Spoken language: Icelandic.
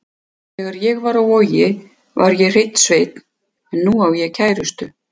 Þegar ég var á Vogi var ég hreinn sveinn en nú á ég kærustu.